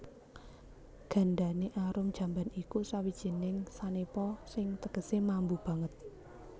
Gandane arum jamban iku sawijining sanepa sing tegesé mambu banget